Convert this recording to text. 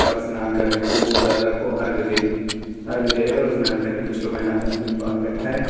और स्नान करने सूर्य दादा को आर्ग दे आर्ग दे रहे हैं और स्नान कर रहे हैं कुछ लोग ने हाथों में कुछ पहन रखा है।